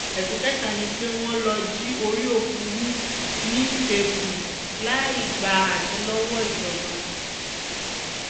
ẹ̀sùn kẹta ni pé wọ́n lọ́ọ́ jí orí òkú hù nítẹ̀kùu láì gba àṣẹ lọ́wọ́ ìjọba